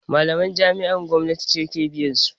Malaman jami'a gwamnati ce ke biyansu